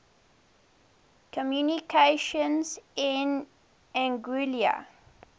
communications in anguilla